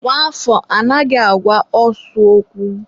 nwa afọ anaghị agwa osu okwu.